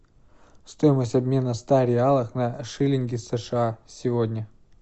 стоимость обмена ста реалов на шиллинги сша сегодня